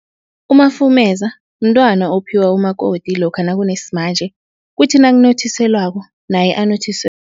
Umafumeza mntwana ophiwa umakoti lokha nakunesimanje, kuthi nakunothiselwako naye